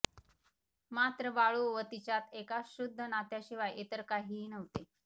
मात्र बाळू व तिच्यात एका शुद्ध नात्याशिवाय इतर काहीही नव्हते